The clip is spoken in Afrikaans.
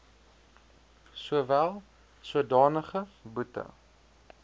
sowel sodanige boete